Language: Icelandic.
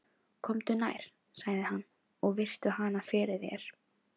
Komdu nær, sagði hann, og virtu hana fyrir þér.